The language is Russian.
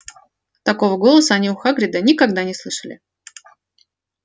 такого голоса они у хагрида никогда не слышали